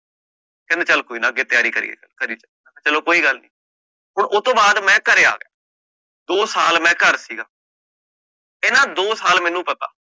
ਕਹਿੰਦੇ ਚਲ ਕੋਈ ਨਾ ਅਗੇ ਤਿਆਰੀ ਕਰੀਏ, ਚਲੋ ਕੋਈ ਗੱਲ ਨੀ, ਹੁਣ ਓ ਤੋਂ ਬਾਅਦ ਮੈਂ ਘਰੇ ਆ ਗਯਾ, ਦੋ ਸਾਲ ਮੈਂ ਘਰ ਸੀਗਾ, ਇਹਨਾਂ ਦੋ ਸਾਲ ਮੈਨੂੰ ਪਤਾ